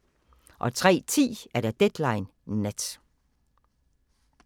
03:10: Deadline Nat